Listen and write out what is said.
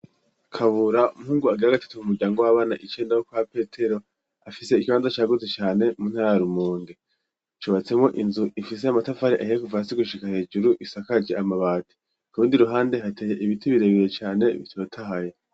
Kabura umuhungu agira gatatu mu muryango w'abana icenda kwa petero afise ikibanza cagutse cane mu ntara ya rumonge cubatsemwo inzu ifise amatafari ahiye kuva asi gushika hejuru isakaye amabati, kurundi ruhande hateye ibiti birebeye cane bitotahaye.